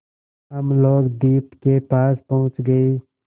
हम लोग द्वीप के पास पहुँच गए